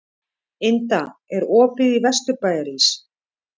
Inda, er opið í Vesturbæjarís?